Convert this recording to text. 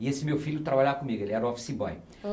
E esse meu filho trabalhava comigo, ele era office boy.